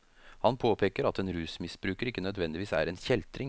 Han påpeker at en rusmisbruker ikke nødvendigvis er en kjeltring.